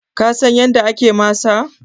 kasan yadda ake masa